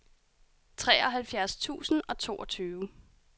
treoghalvfjerds tusind og toogtyve